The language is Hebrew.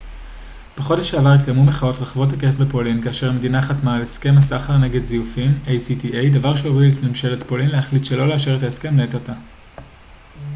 בחודש שעבר התקיימו מחאות רחבות היקף בפולין כאשר המדינה חתמה על הסכם הסחר נגד זיופים acta דבר שהוביל את ממשלת פולין להחליט שלא לאשר את ההסכם לעת עתה